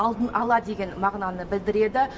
алдын ала деген мағынаны білдіреді